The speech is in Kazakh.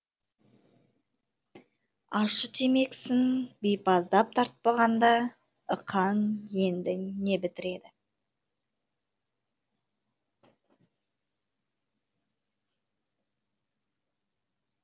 ащы темекісін бипаздап тартпағанда ықаң енді не бітіреді